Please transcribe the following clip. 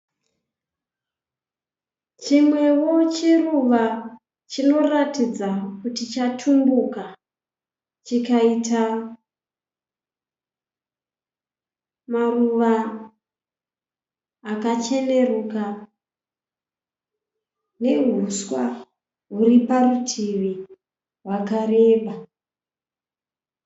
Chimwevo chiruva chinoratidza kuti chatumbuka chikaita maruva akacheneruka, nehuswa huriparutivi hwakareba.